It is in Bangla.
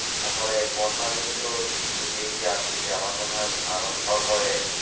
তাহলে বন্যা যেহেতু একটু দেরিতে আসতেছে, আমার মনে হয় ধান উঠার পরে,